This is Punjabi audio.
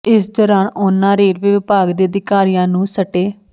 ਇਸ ਦੌਰਾਨ ਉਨ੍ਹਾਂ ਰੇਲਵੇ ਵਿਭਾਗ ਦੇ ਅਧਿਕਾਰੀਆਂ ਨੂੰ ਸਟੇ